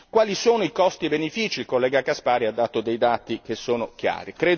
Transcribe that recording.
Quali sono i costi e benefici, il collega Caspary ha dato dei dati che sono chiari.